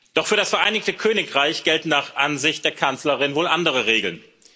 Doch für das Vereinigte Königreich gelten nach Ansicht der Kanzlerin wohl andere Regeln.